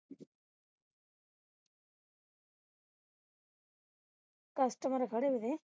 customer ਖੜੇ ਨੇ